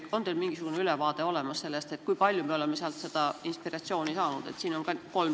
Kas teil on olemas mingisugune ülevaade sellest, kui palju me oleme sealt inspiratsiooni saanud?